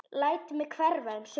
Læt mig hverfa um stund.